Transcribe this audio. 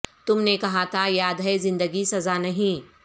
تم نے کہا تھا یاد ہے زندگی سزا نہیں